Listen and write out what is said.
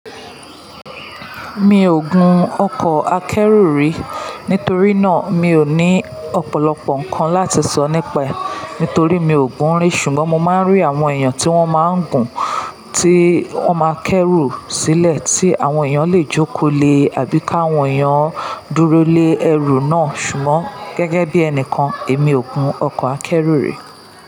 Mi ò gun ọkọ̀ akẹ́rù rí, nítorí náà mi ò ní ọ̀pọ̀lọpọ̀ ǹkan láti sọ nípa ẹ, nítorí mi ò gún ún rí. Ṣùgbọ́n mo máa ń rí àwọn èèyàn tí wọ́n máa ń gùn, tí wọ́n máa kẹ́rù sílẹ̀ tí àwọn èèyàn lè jókòó le àbí ká àwọn èèyàn dúró lé ẹrù náà. Ṣùgbọ́n gẹ́gẹ́ bí ẹni kan, èmi ò gun ọkọ̀ akẹ́rù rí.